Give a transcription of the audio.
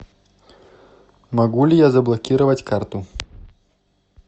могу ли я заблокировать карту